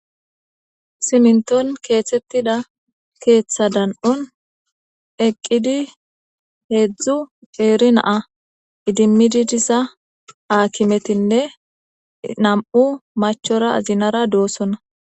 siminton keeththettida keeththa dan7un eqqidi heedzdzu eeri naa idimmididisa aakimetinne nam7u machora zinara doossonna